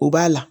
O b'a la